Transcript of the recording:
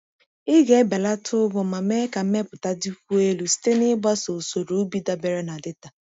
Ị ga-ebelata ụgwọ ma mee ka mmepụta dịkwuo elu site n’ịgbaso usoro ubi dabere na data.